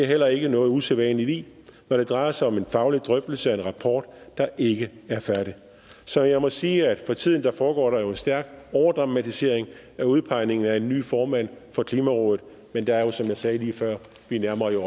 heller ikke noget usædvanligt i når det drejer sig om en faglig drøftelse af en rapport der ikke er færdig så jeg må sige at for tiden foregår der jo stærk overdramatisering af udpegningen af en ny formand for klimarådet men der er jo som jeg sagde lige før det at vi